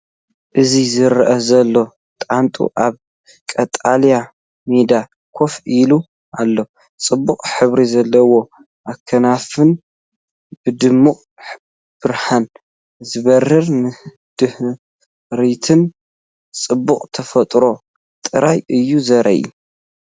እዚ ዝረአ ዘሎ ጣንጡ ኣብ ቀጠልያ ሜዳ ኮፍ ኢሉ ኣሎ። ጽቡቕ ሕብሪ ዘለዎ ኣኽናፉን ብድሙቕ ብርሃን ዝበርህ ንድሕሪትን ጽባቐ ተፈጥሮ ጥራይ እዩ ዘርኢ።